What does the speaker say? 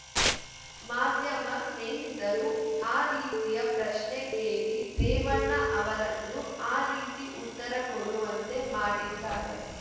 ಮಾಧ್ಯಮ ಸ್ನೇಹಿತರು ಆ ರೀತಿಯ ಪ್ರಶ್ನೆ ಕೇಳಿ ರೇವಣ್ಣ ಅವರನ್ನು ಆ ರೀತಿ ಉತ್ತರ ಕೊಡುವಂತೆ ಮಾಡಿದ್ದಾರೆ